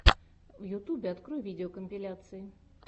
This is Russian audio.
в ютубе открой видеокомпиляции